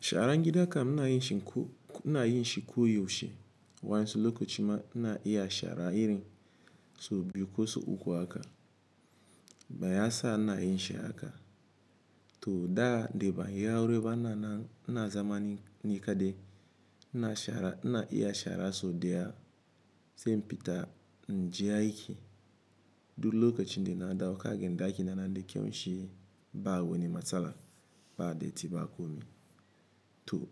Sharan gidan ka ina yin shi koyaushe wansu lokacin ma ina iya shara iri so biyu ko so uku aka, baya sa na yin shi haka. To da dai ba ayi aure ba ina nan ina zama ni kadai ina shara ina iya shara so daya sai in fita in je aiki. Duk lokacin da na dawo kaga daki na na da kyau shi ba wani matsala ba dati ba komi. To